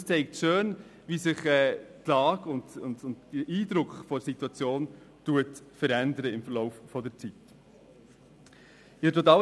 Dies zeigt schön, wie sich die Lage oder ihre Einschätzung im Verlaufe der Zeit ändern.